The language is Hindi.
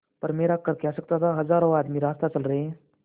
पर मेरा कर क्या सकता था हजारों आदमी रास्ता चल रहे हैं